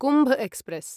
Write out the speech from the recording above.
Kumbh express